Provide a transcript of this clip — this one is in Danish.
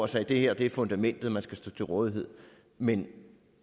sagde det her er fundamentet man skal stå til rådighed men